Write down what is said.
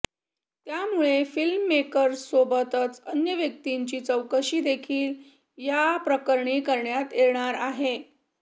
त्यामुळे फिल्ममेकरसोबतच अन्य व्यक्तींची चौकशी देखील याप्रकरणी करण्यात येणार आहे